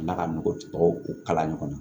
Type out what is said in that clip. Ala ka nɔgɔ kalan ɲɔgɔn na